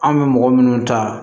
An bɛ mɔgɔ minnu ta